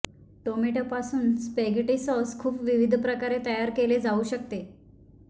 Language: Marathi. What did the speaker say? टोमॅटो पासून स्पॅगेटी सॉस खूप विविध प्रकारे तयार केले जाऊ शकते